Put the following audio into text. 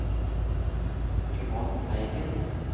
Yvonne Teigen